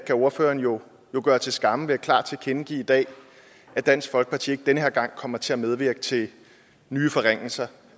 ordføreren jo gøre til skamme ved klart at tilkendegive i dag at dansk folkeparti ikke den her gang kommer til at medvirke til nye forringelser